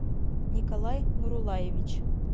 николай нурулаевич